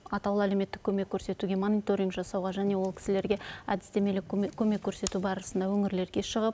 атаулы әлеуметтік көмек көрсетуге мониторинг жасауға және ол кісілерге әдістемелік көмек көрсету барысында өңірлерге шығып